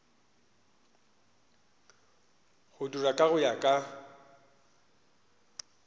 go dirwa go ya ka